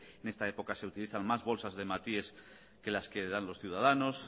en esta época se utilizan más bolsas de hematíes que las que dan los ciudadanos